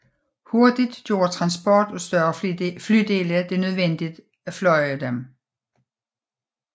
Hurtigt gjorde transport af større flydele det nødvendigt at flyve dem